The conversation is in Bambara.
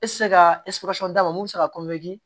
E tɛ se ka d'a ma mun bɛ se ka